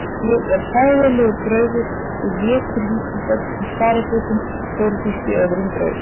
Ég er hræðilegur draugur sem étur lítil börn í sparifötum heyrðist í öðrum draug.